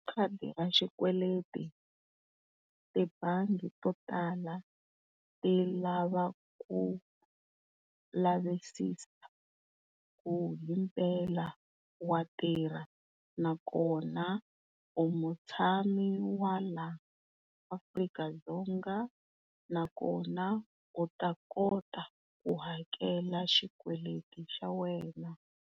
Khadi ra xikweleti, tibangi to tala tilava ku lavisisa ku himpela wa tirha nakona u mutshami wa laa, Afrika-Dzonga nakona u ta kota ku hakela xikweleti xa wena.